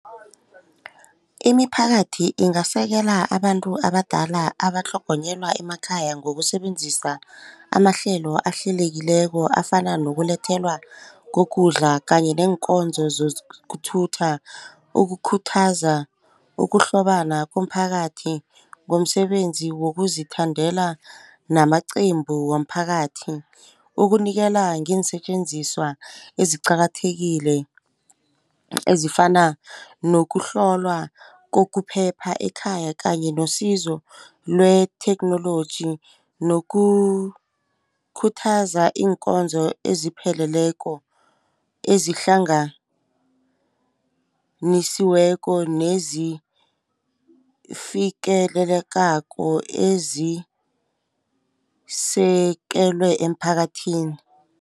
Imiphakathi ingasekela abantu abadala abatlhogonyelwa emakhaya ngokusebenzisa amahlelo ahlelekileko afana nokulethelwa kokudla kanye neenkonzo zokuthutha. Ukukhuthaza ukuhlobana komphakathi ngomsebenzi wokuzithandela namaqembu womphakathi. Ukunikela ngeensetjenziswa eziqakathekile ezifana nokuhlolwa kokuphepha ekhaya kanye nosizo lwetheknoloji nokukhuthaza iinkonzo ezipheleleko ezihlanganisiweko nezifikelelekako ezisekelwe emphakathini.